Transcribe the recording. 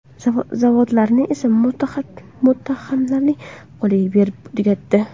Zavodlarni esa muttahamlarning qo‘liga berib, tugatdi.